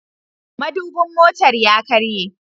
Madubin motar ya karye.